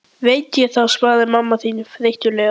Veit ég það, svaraði mamma þín þreytulega.